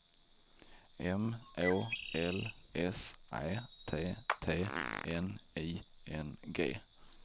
M Å L S Ä T T N I N G